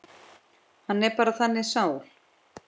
Hann er bara þannig sál.